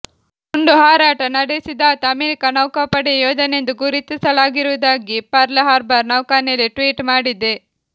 ಗುಂಡುಹಾರಾಟ ನಡೆಸಿದಾತ ಅಮೆರಿಕ ನೌಕಾಪಡೆಯ ಯೋಧನೆಂದು ಗುರುತಿಸಲಾಗಿರುವುದಾಗಿ ಪರ್ಲ್ ಹಾರ್ಬರ್ ನೌಕಾನೆಲೆ ಟ್ವೀಟ್ ಮಾಡಿದೆ